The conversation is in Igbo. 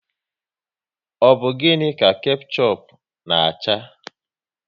Ọ bụ gịnị ka kechup na acha?